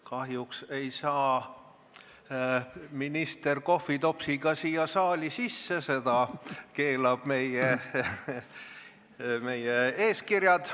Kahjuks ei saa minister kohvitopsiga siia saali sisse, seda keelavad meie eeskirjad.